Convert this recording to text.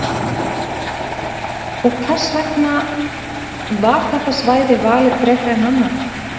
Sunna: Og hvers vegna var þetta svæði valið frekar en annað?